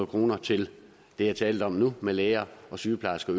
kroner til det jeg talte om nu med læger og sygeplejersker